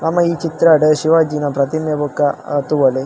ನಮ ಈ ಚಿತ್ರಡ್ ಶಿವಾಜಿನ ಪ್ರತಿಮೆ ಬೊಕ ಅ ತೂವೊಲಿ.